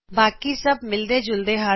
ਬਾਕੀ ਸਭ ਮਿਲਦੇ ਜੁਲਦੇ ਹਨ